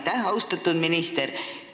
Aitäh, austatud minister!